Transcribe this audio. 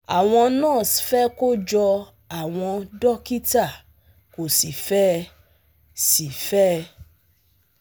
Àwọn nurse fẹ́ kó jọ àwọn dókítà kò sì fe é sì fe é